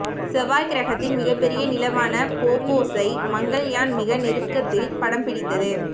செவ்வாய் கிரகத்தின் மிகப்பெரிய நிலவான போபோஸை மங்கள்யான் மிக நெருக்கத்தில் படம் பிடித்தது